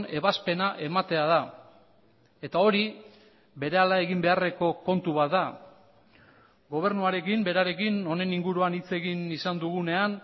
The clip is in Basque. ebazpena ematea da eta hori berehala egin beharreko kontu bat da gobernuarekin berarekin honen inguruan hitz egin izan dugunean